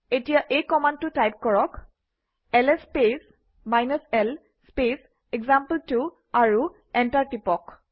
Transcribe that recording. এতিয়া এই কমাণ্ডটো টাইপ কৰক - LS space l space example two আৰু এণ্টাৰ টিপক